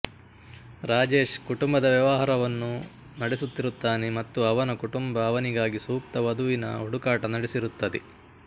ರಾಜೇಶ್ ಕುಟುಂಬದ ವ್ಯವಹಾರವನ್ನು ನಡೆಸುತ್ತಿರುತ್ತಾನೆ ಮತ್ತು ಅವನ ಕುಟುಂಬ ಅವನಿಗಾಗಿ ಸೂಕ್ತ ವಧುವಿನ ಹುಡುಕಾಟ ನಡೆಸಿರುತ್ತದೆ